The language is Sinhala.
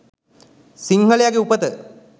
සිංහලයගෙ උපත